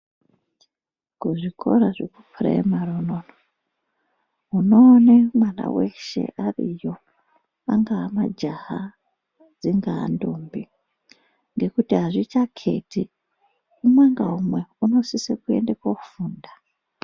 Kuzvikora zvekupuraimari unono unoone mwana weshe ariyo angamajaha dzingandombi ngekuti azvichaketi umwe ngaumwe unosise kofunda